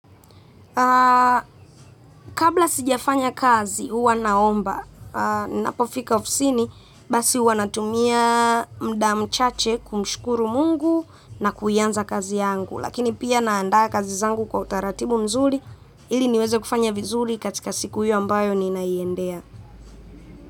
Kabla sijafanya kazi huwa naomba ninapofika ofisini basi huwa natumia muda mchache kumshukuru Mungu na kuianza kazi yangu. Lakini pia naandaa kazi zangu kwa utaratibu mzuri ili niweze kufanya vizuri katika siku hiyo ambayo ninaiendea.